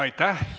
Aitäh!